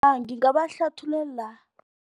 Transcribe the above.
Ngingabahluthululela